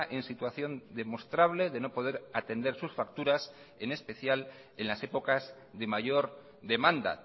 en situación demostrable de no poder atender sus facturas en especial en las épocas de mayor demanda